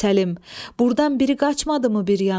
Burdan biri qaçmadı mı bir yana?